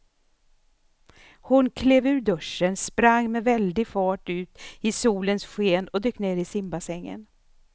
Hon klev ur duschen, sprang med väldig fart ut i solens sken och dök ner i simbassängen.